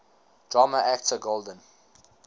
drama actor golden